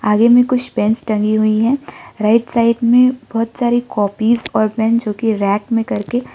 आगे में कुछ पेंस टंगी हुई है राइट साइड में बहुत सारी कॉपीज और पेन जो कि रैक में करके--